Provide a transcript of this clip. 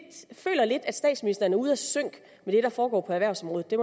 at statsministeren er ude af sync med det der foregår på erhvervsområdet det